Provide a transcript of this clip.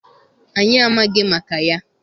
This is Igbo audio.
Anyị amaghị maka ya.